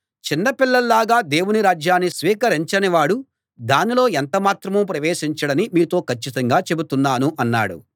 చిన్న పిల్లల్లాగా దేవుని రాజ్యాన్ని స్వీకరించని వాడు దానిలో ఎంత మాత్రమూ ప్రవేశించడని మీతో కచ్చితంగా చెబుతున్నాను అన్నాడు